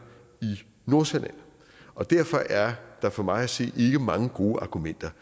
i nordsjælland og derfor er der for mig at se ikke mange gode argumenter